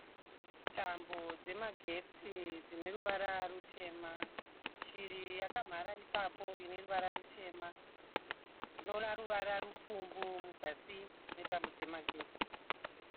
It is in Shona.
Tambo dzemagetsi dzineruvara rutema. Shiri yakanhara ipapo ineruvara rutema. Ndinoona ruvara rwupfumbu muzasi memagetsi.